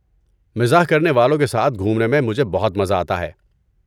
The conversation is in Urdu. مزاح کرنے والوں کے ساتھ گھومنے میں مجھے بہت مزہ آتا ہے۔